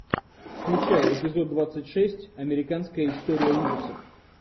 включай эпизод двадцать шесть американская история ужасов